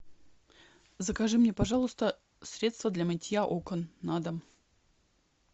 закажи мне пожалуйста средство для мытья окон на дом